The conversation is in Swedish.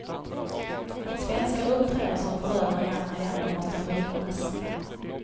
Att svenskar uppträder som förövare i andra länder måste förhindras.